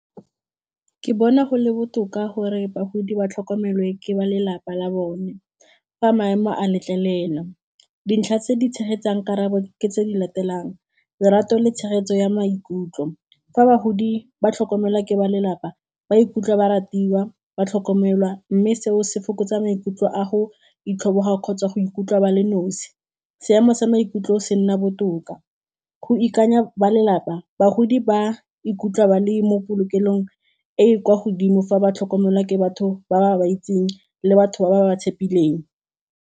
Ke bona go le botoka gore bagodi ba tlhokomelwa ke ba lelapa la bone fa maemo a letlelela, di ntlha tse di tshegetsang karabo ke tse di latelang lerato le tshegetso ya maikutlo fa bagodi ba tlhokomelwa ke ba lelapa ba ikutlwe ba ratiwa ba tlhokomelwa mme seo se fokotsa maikutlo a go itlhobogela kgotsa go ikutlwa ba le nosi, seemo sa maikutlo o se nna botoka go ikanya ba lelapa bagodi ba ikutlwa ba le mo polokelong e e kwa godimo fa ba tlhokomelwa ke batho ba ba ba itseng le batho ba ba tshepileng.